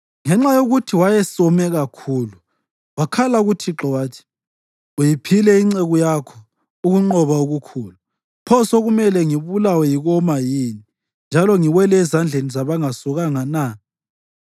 Ngenxa yokuthi wayesome kakhulu, wakhala kuThixo wathi, “Uyiphile inceku yakho ukunqoba okukhulu. Pho sekumele ngibulawe yikoma yini njalo ngiwele ezandleni zabangasokanga na?”